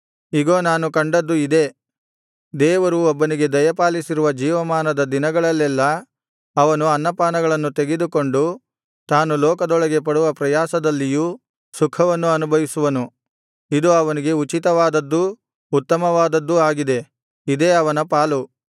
ಇಗೋ ನಾನು ಕಂಡದ್ದು ಇದೇ ದೇವರು ಒಬ್ಬನಿಗೆ ದಯಪಾಲಿಸಿರುವ ಜೀವಮಾನದ ದಿನಗಳಲ್ಲೆಲ್ಲಾ ಅವನು ಅನ್ನಪಾನಗಳನ್ನು ತೆಗೆದುಕೊಂಡು ತಾನು ಲೋಕದೊಳಗೆ ಪಡುವ ಪ್ರಯಾಸದಲ್ಲಿಯೂ ಸುಖವನ್ನು ಅನುಭವಿಸುವನು ಇದು ಅವನಿಗೆ ಉಚಿತವಾದದ್ದೂ ಉತ್ತಮವಾದದ್ದೂ ಆಗಿದೆ ಇದೇ ಅವನ ಪಾಲು